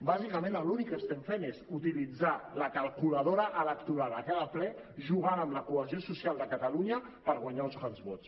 bàsicament l’únic que estem fent és utilitzar la calculadora electoral a cada ple jugant amb la cohesió social de catalunya per guanyar uns quants vots